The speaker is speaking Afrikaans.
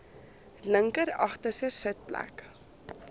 linker agterste sitplek